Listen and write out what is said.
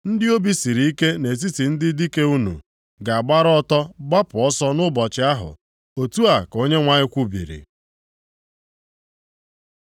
Ndị obi siri ike nʼetiti ndị dike unu, ga-agbara ọtọ gbapụ ọsọ nʼụbọchị ahụ.” Otu a ka Onyenwe anyị kwubiri.